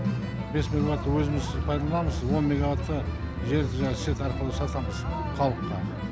бес мегабайтты өзіміз пайдаланамыз он мегабайтты желі арқылы сатамыз халыққа